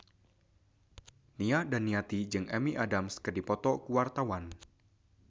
Nia Daniati jeung Amy Adams keur dipoto ku wartawan